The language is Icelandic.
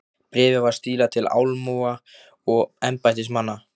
Bréfið var stílað til almúga og embættismanna.